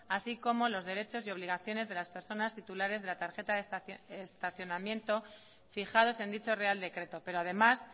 así como los derechos y obligaciones de las personas titulares de la tarjeta de estacionamiento fijados en dicho real decreto pero además